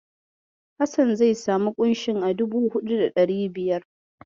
Hassan zai samu ƙunshin a dubu huɗu da ɗari biyar.